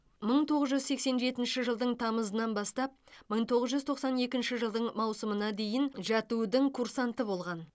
мың тоғыз жүз сексен жетінші жылдың тамызынан бастап мың тоғыз жүз тоқсан екінші жылдың маусымына дейін жәту дің курсанты болған